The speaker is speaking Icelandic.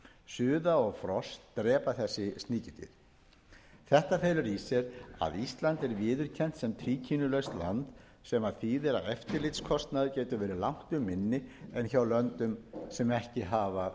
þessi sníkjudýr þetta felur í sér að ísland er viðurkennt sem tríkínulaust land sem þýðir að eftirlitskostnaður getur verið langtum minni en hjá löndum sem ekki hafa